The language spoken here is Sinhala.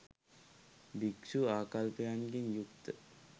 භික්ෂූ ආකල්පයන්ගෙන් යුක්ත